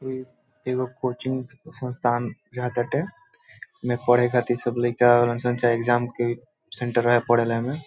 इ एगो कोचिंग संस्थान एमे पढ़े खातिर लइका --